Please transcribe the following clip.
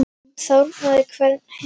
Henni sárnar hvernig Hemmi lætur.